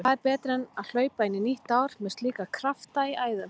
Hvað er betra en hlaupa inn í nýtt ár með slíka krafta í æðum?